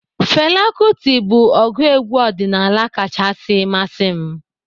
Fela Kuti bụ ọgụ egwu ọdịnaala kachasi masị m.